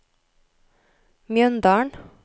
Mjøndalen